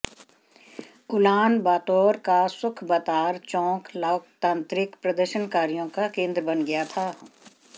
Ulan बातोर का Sukhbaatar चौक लोकतांत्रिक प्रदर्शनकारियों का केन्द्र बन गया था